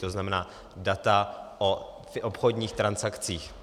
To znamená data o obchodních transakcích.